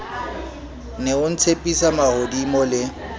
ne o ntshepisa mahodimo le